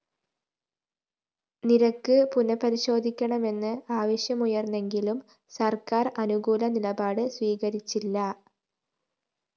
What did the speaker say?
നിരക്ക് പുനഃപരിശോധിക്കണമെന്ന് ആവശ്യമുയര്‍ന്നെങ്കിലും സര്‍ക്കാര്‍ അനുകൂല നിലപാട് സ്വീകരിച്ചില്ല